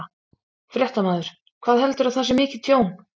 Fréttamaður: Hvað heldurðu að það sé mikið tjón?